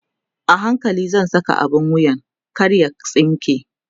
a hankali zan Saka abun wuyan kar ya tsinke